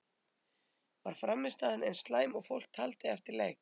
Var frammistaðan eins slæm og fólk taldi eftir leik?